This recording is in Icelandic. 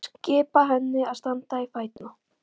Skipa henni að standa í fæturna.